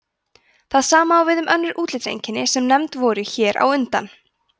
það sama á við um önnur útlitseinkenni sem nefnd voru hér á undan